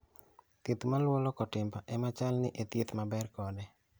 Thieth maluo loko timbe ema chal ni e thieth maber kode